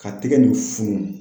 Ka tigɛ nin funu.